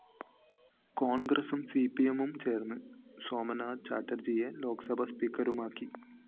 കോണ്‍ഗ്രസും സിപിഎമ്മുംചേര്‍ന്ന് സോമനാഥ് ചാറ്റര്‍ജിയെ ലോക്‌സഭാ സ്പീക്കറുമാക്കി